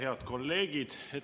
Head kolleegid!